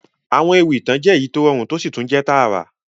Àwọn ewì ìtàn jẹ èyí to rọrún to si tun jẹ taarà.